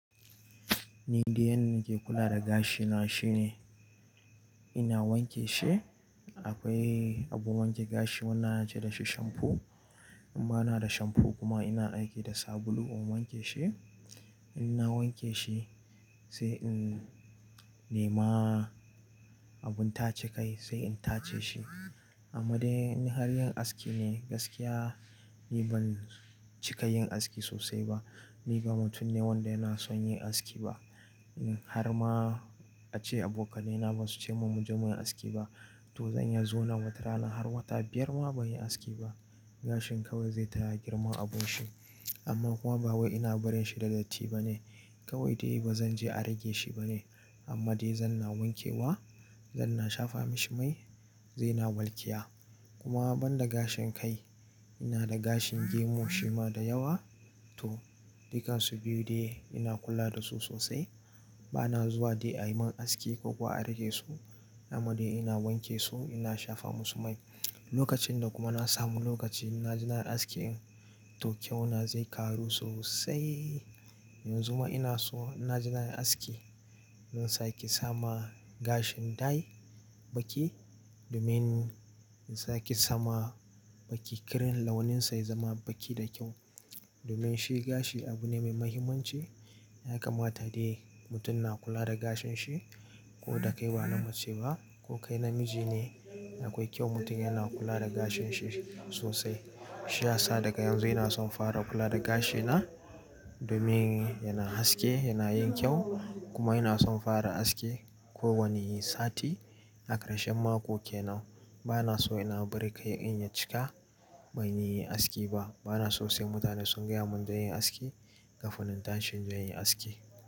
Ni dai yanda nake kula da gashina shine ina wanke shi. Akwai abun wanke gashi wanda ana ce da shi shamfu. In ba na da shamfu kuma ina aiki da sabulu in wanke shi. In na wanke shi sai in nema abun tace kai sai in tace shi. Amma dai in har yin aski ne gaskiya. Ni ban cika yin aski sosai ba. Ni ba mutum ne wanda yana son yin aski ba. In har ma ace abokanaina ba su ce mun mu je mu yi aski ba to zanyi zo na wata rana har wata biyar ma ban yi aski ba. Gashin kawai zai ta girman abun shi amma kuma ba wai ina barin shi da datti ba ne. Kawai dai ba zan je a rage shi ba ne. Amma dai zan na wanke wa, zan na shafa mishi mai, zai na walkiya. Kuma ban da gashin kai, ina da gashin gemu shi ma da yawa. To, dukansu biyu dai ina kula da su sosai. Ba na zuwa dai a yi man aski ko kuwa a rage su. Amma dai ina wanke su, ina shafa musu mai. Lokacin da kuma na samu lokaci ina jena yi aski in to kyau na zai karu sosai. Yanzu ma ina so inna je nayi aski. Zan sake sama gashin dayi baƙi domin in sake sama baki. Kirin launin sa ya zama baƙi da kyau. Domin shi gashi abu ne mai muhimmanci. Ya kamata dai mutum na kula da gashin shi ko da kai ba na mace ba ko kai na miji ne akwai kyau mutum yana kula da gashin shi sosai. Shi ya sa daga yanzu ina son fara kula da gashina domin yana haske, yana yin kyau kuma ina son fara aski ko wani sati. A ƙarshen mako kenan. Ba na so ina bari kai in ya cika ban yi aski ba. Bana so sai mutane sun gaya mun in je inyi aski kafin na tashi in zo yin aski.